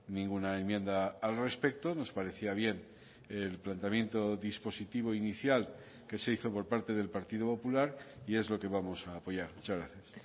ninguna enmienda al respecto nos parecía bien el planteamiento dispositivo inicial que se hizo por parte del partido popular y es lo que vamos a apoyar muchas gracias